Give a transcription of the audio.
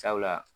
Sabula